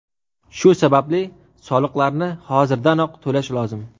Shu sababli soliqlarni hozirdanoq to‘lash lozim.